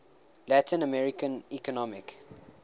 latin american economic